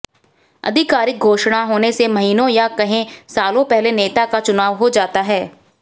आधिकारिक घोषणा होने से महीनों या कहें सालों पहले नेता का चुनाव हो जाता है